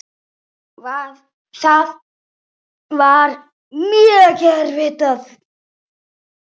Það var mjög erfitt.